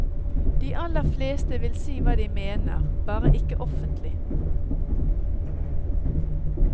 De aller fleste vil si hva de mener, bare ikke offentlig.